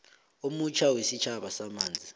omutjha wesitjhaba wamanzi